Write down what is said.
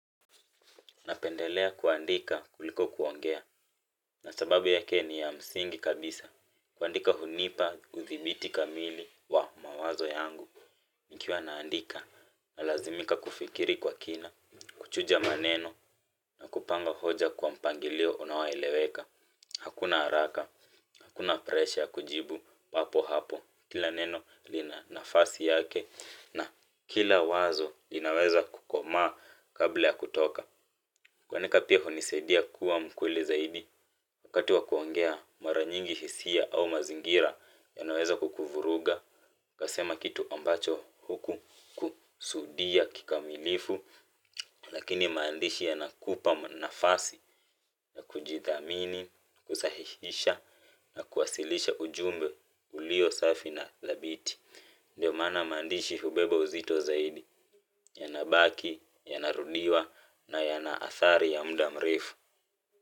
Napendelea kuandika kuliko kuongea, na sababu yake ni ya msingi kabisa. Kuandika hunipa, uthibiti kamili wa mawazo yangu. Nikiwa naandika, nalazimika kufikiri kwa kina, kuchuja maneno, na kupanga hoja kwa mpangilio unaoeleweka. Hakuna haraka, hakuna presha kujibu, hapo hapo, kila neno lina nafasi yake, na kila wazo inaweza kukomaa kabla ya kutoka. Kuandika pia hunisaidia kuwa mkweli zaidi wakati wa kuongea mara nyingi hisia au mazingira yanaweza kukuvuruga ukasema kitu ambacho hukukusudia kikamilifu lakini maandishi yanakupa nafasi ya kujithamini kusahihisha na kuwasilisha ujumbe ulio safi thabiti ndiyo maana maandishi hubeba uzito zaidi yanabaki, yanarudiwa na yana athari ya muda mrefu.